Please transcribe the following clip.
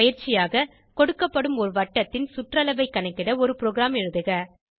பயிற்சியாக கொடுக்கப்படும் ஒரு வட்டத்தின் சுற்றளவை கணக்கிட ஒரு ப்ரோகிராம் எழுதுக